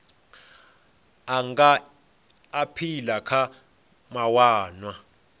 a nga aphila kha mawanwa